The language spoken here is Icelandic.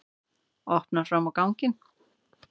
Opnar fram á ganginn.